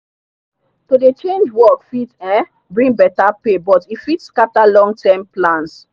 to dey change work fit um bring better pay but e fit scatter long-term plans.